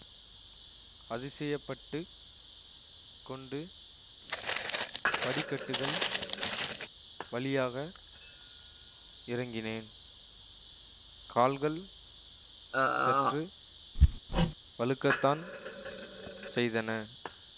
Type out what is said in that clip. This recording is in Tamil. அதிசயப்பட்டுக் கொண்டு படிக்கட்டுகள் வழியாக இறங்கினேன் கால்கள் சற்று வழுக்கத்தான் செய்தன